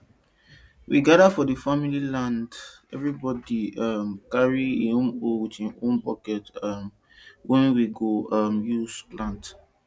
we gada for di family land evribodi um carry im hoe wit im own buket um wey we um go use plant